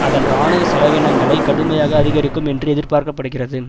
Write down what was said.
அதன் இராணுவ செலவினங்களை கடுமையாக அதிகரிக்கும் என்று எதிர்பார்க்க படுகிறது